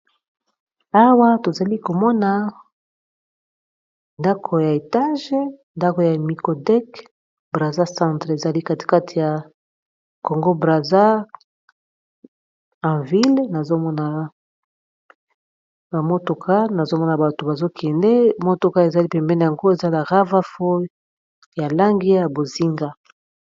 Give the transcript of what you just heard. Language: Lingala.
awa tozali komona ndako ya etage ndako ya mikodek brater centre ezali katikate ya congo brater enville amotoka nazomona bato bazokende motoka ezali pembene yango ezala rava fow ya lange ya bozinga